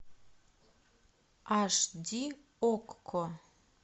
аш ди окко